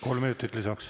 Kolm minutit lisaks.